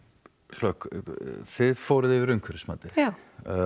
hlökk þið fóruð yfir umhverfismatið já